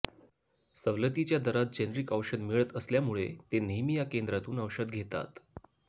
सवलतीच्या दरात जेनरिक औषध मिळत असल्यामुळे ते नेहमी या केंद्रातून औषध घेतात